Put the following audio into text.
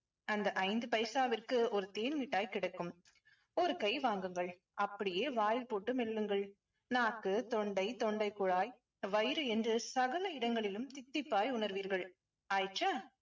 அந்த ஐந்து பைசாவிற்கு ஒரு தேன்மிட்டாய் கிடைக்கும். ஒரு கை வாங்குங்கள். அப்படியே வாயில் போட்டு மெல்லுங்கள். நாக்கு, தொண்டை, தொண்டைக் குழாய், வயிறு என்று சகல இடங்களிலும் தித்திப்பாய் உணர்வீர்கள். ஆயிற்றா